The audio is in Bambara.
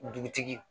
Dugutigi